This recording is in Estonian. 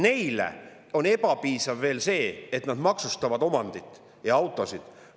Neile on ebapiisav veel see, et nad maksustavad omandit ja autosid.